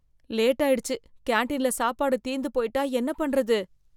லேட்டாயிடுச்சு கேண்டீன்ல சாப்பாடு தீந்து போயிட்டா என்ன பண்றது?